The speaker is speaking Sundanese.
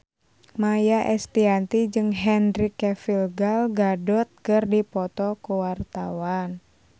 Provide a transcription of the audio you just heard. Maia Estianty jeung Henry Cavill Gal Gadot keur dipoto ku wartawan